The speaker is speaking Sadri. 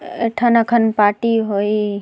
एठन अखन पार्टी होइ --